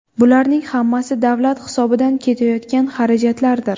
Bularning hammasi davlat hisobidan ketayotgan xarajatlardir.